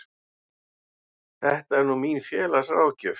Þetta er nú mín félagsráðgjöf.